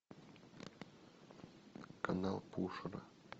канал пушера